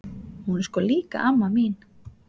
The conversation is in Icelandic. Hún er sko líka amma mín!